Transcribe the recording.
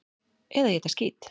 Eða éta skít!